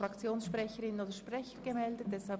Wir kommen zu den Einzelvoten.